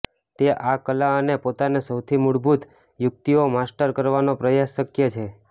તે આ કલા અને પોતાને સૌથી મૂળભૂત યુકિતઓ માસ્ટર કરવાનો પ્રયાસ શક્ય છે